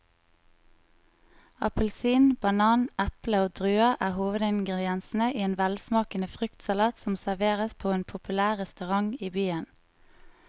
Appelsin, banan, eple og druer er hovedingredienser i en velsmakende fruktsalat som serveres på en populær restaurant i byen.